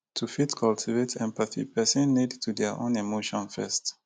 to fit cultivate empathy person need to their own emotion first